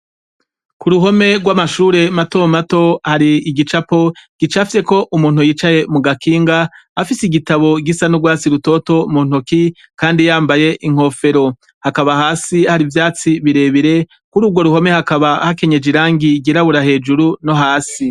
Kuruhome rwamashure matomato hari igicapo gicafyeko umuntu yicaye kugakinga afise igitabo gisa nurwatsi rutoto muntoki kandi yambaye inkofero hakaba hasi hari ivyatsi birebire kurugo ruhome haka hakenyeje irangi ryirabura hejuru no hasi